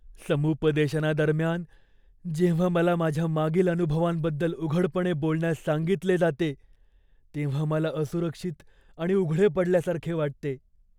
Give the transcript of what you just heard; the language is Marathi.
समुपदेशनादरम्यान जेव्हा मला माझ्या मागील अनुभवांबद्दल उघडपणे बोलण्यास सांगितले जाते तेव्हा मला असुरक्षित आणि उघडे पडल्यासारखे वाटते.